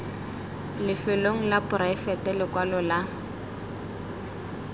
lefelong la poraefete lekwalo la